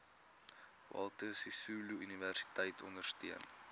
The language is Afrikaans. walter sisuluuniversiteit ondersteun